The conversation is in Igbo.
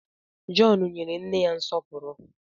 John nyere nne ya nsọpụrụ